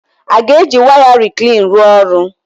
A ga-eji waya reclean rụọ ọrụ?